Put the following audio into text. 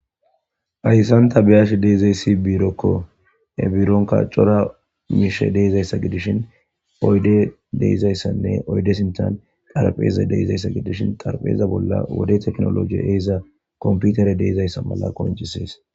Hassan ta biyashi de'izay isdi biirokko. Ha biironka cora miishe de'iza issa gidishin oydde de'iza issanne oydde sintan xarpheeza de'iza issa gidishin xarpheeza bolla wode teknologi eeza komputere de'iza issa mala qoncisees.